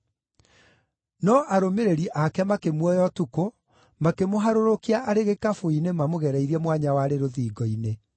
No arũmĩrĩri aake makĩmuoya ũtukũ, makĩmũharũrũkia arĩ gĩkabũ-inĩ mamũgereirie mwanya warĩ rũthingo-inĩ.